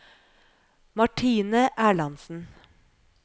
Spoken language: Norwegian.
Martine Erlandsen